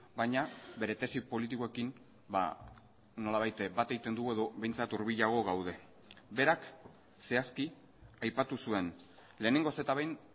baina bere tesi politikoekin nolabait bat egiten dugu edo behintzat hurbilago gaude berak zehazki aipatu zuen lehenengoz eta behin